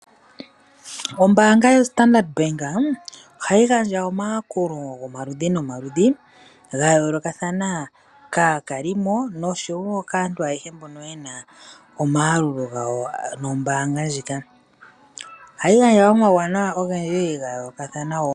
Ombaanga yoStandard bank ohayi gandja omayakulo omaludhinomaludhi kaakalimo nosho yo kaantu mbono yena omayalulo nombaanga ndjika ohayi gandja omayalulo ogendji ga yoolokathana .